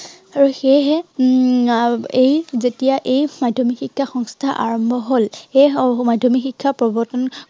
আৰু সেয়েহে উম এই যেতিয়া এই মাধ্য়মিক শিক্ষা সংস্থা আৰম্ভ হল সেই মাধ্য়মিক শিক্ষা প্ৰৱৰ্তন